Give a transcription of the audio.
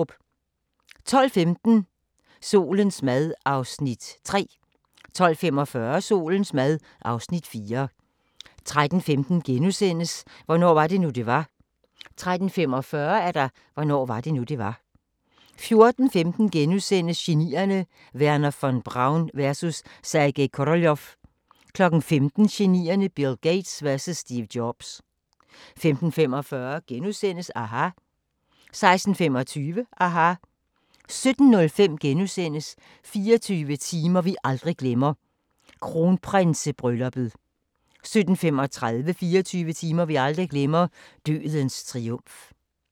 12:15: Solens mad (Afs. 3) 12:45: Solens mad (Afs. 4) 13:15: Hvornår var det nu, det var? * 13:45: Hvornår var det nu, det var? 14:15: Genierne: Wernher von Braun vs. Sergej Koroljov * 15:00: Genierne: Bill Gates vs Steve Jobs 15:45: aHA! * 16:25: aHA! 17:05: 24 timer vi aldrig glemmer – Kronprinsebrylluppet * 17:35: 24 timer vi aldrig glemmer – Dødens triumf